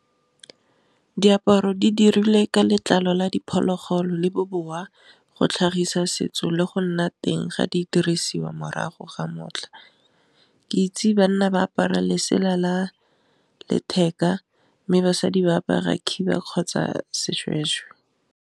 Diaparo di dirilwe ka letlalo la diphologolo le bobowa go tlhagisa setso le go nna teng ga di dirisiwa morago ga motlha, ke itse banna ba apara letsela la letheka, mme basadi ba apara khiba kgotsa seshweshwe.